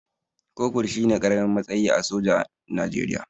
Kofur shine ƙaramin matsayi a soja Najeriya